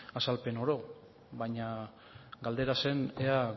azalpen oro baina galdera zen ea